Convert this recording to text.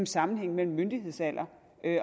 sammenhængen mellem myndighedsalder